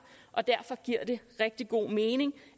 og derfor giver det rigtig god mening